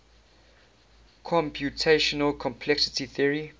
computational complexity theory